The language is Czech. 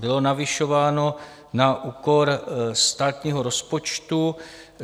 Bylo navyšováno na úkor státního rozpočtu.